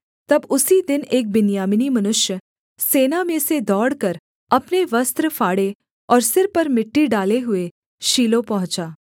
तब उसी दिन एक बिन्यामीनी मनुष्य सेना में से दौड़कर अपने वस्त्र फाड़े और सिर पर मिट्टी डाले हुए शीलो पहुँचा